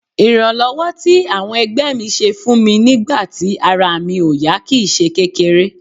Ìrànlọ́wọ́ tí àwọn ẹgbẹ́ mi ṣe fún mi nígbà tí ara mi ò yá kì í ṣe kékeré